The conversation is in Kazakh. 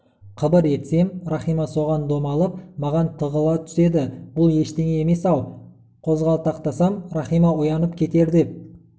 қыбыр етсем рахима соған домалып маған тығыла түседі бұл ештеңе емес-ау қозғалақтасам рахима оянып кетер деп